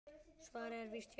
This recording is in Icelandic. Svarið er víst já.